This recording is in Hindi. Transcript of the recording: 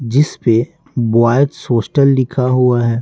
जिस पे बॉयज होस्टल लिखा हुआ है।